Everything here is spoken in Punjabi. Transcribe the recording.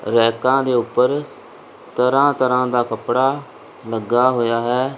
ਰੈਕਾਂ ਦੇ ਉੱਪਰ ਤਰ੍ਹਾਂ ਤਰ੍ਹਾਂ ਦਾ ਕੱਪੜਾ ਲੱਗਾ ਹੋਇਆ ਹੈ।